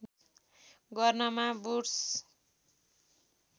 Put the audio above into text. गर्नमा वुड्स